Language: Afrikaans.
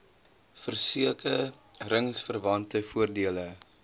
verseke ringsverwante voordele